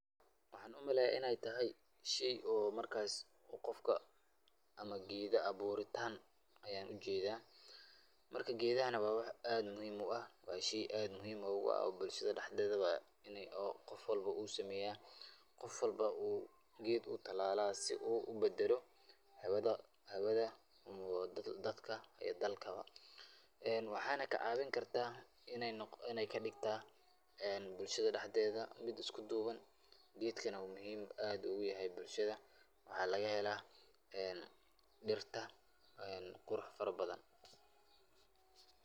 Waxaan u maleya inay tahay shay oo markasi qofka ama geeda abuuritan ayan u jeeda marka geedahana waa wax aad muhiim u ah waa shay aad muhiim ogu ah bulshada daxdeeda oo qof walba u sameya qof walba o u geed u talala si oo u badalo hawada dadka iyo dalkaba ee waxaana ka cawin karta inay kadigta ee bulshada daxdeeda mid isku duuban geedkana aad muhiim ogu yahay bulshada waxaa lagahela ee dhirta qurux fara badan.